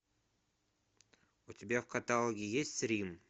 у тебя в каталоге есть рим